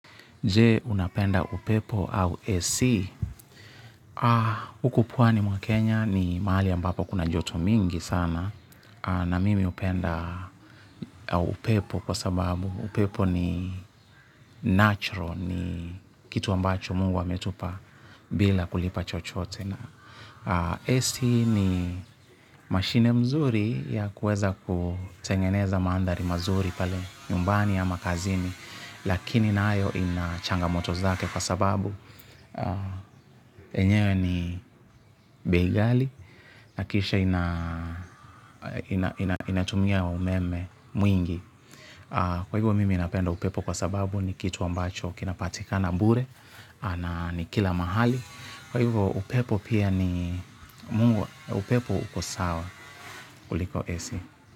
Je, unapenda upepo au AC? Huku pwani mwa Kenya ni mahali ambapo kuna joto mingi sana. Na mimi hupenda upepo kwa sababu upepo ni natural. Ni kitu ambacho Mungu ametupa bila kulipa chochote. AC ni mashine mzuri ya kuweza kutengeneza maandhari mazuri pale nyumbani ama kazini. Lakini nayo ina changamoto zake kwa sababu enyewe ni bei ghali, na kisha inatumia umeme mwingi. Kwa hivyo mimi napenda upepo kwa sababu ni kitu ambacho kinapatikana bure, na ni kila mahali, kwa hivyo upepo pia ni Mungu upepo uko sawa kuliko ac.